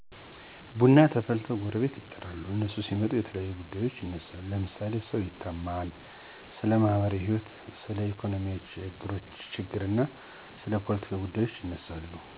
ቡና ተፈልቶ ጎረቤት ይጠራል። እነሱ ሲመጡ የተለያዩ ጉዳዬች ይነሳሉ ለምሳሌ ሰው ይታማል፣ ስለማህበራዎህይወት፣ ስለኢኮኖሚ ችግር፣ ስለ ፓለቲካ ጉዳዩች ይነሳሉ።